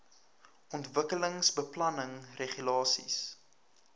ontwikkelingsbeplanningregulasies